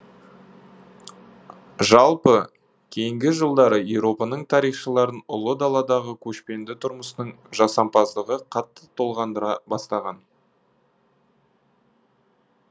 жалпы кейінгі жылдары еуропаның тарихшыларын ұлы даладағы көшпенді тұрмыстың жасампаздығы қатты толғандыра бастаған